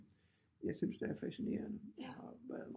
Jeg synes det er fascinerende